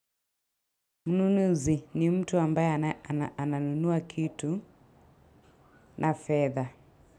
Mnunuuzi ni mtu ambaye ananunua kitu na feather.